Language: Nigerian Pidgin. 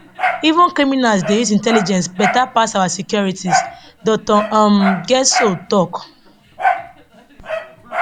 even criminals dey use intelligence beta pass our securities dr um getso tok